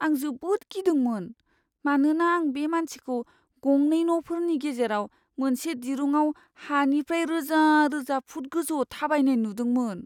आं जोबोद गिदोंमोन, मानोना आं बे मानसिखौ गंनै न'फोरनि गेजेराव मोनसे दिरुंआव हानिफ्राय रोजा रोजा फुट गोजौआव थाबायनाय नुदोंमोन।